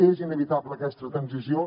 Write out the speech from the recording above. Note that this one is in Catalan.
és inevitable aquesta transició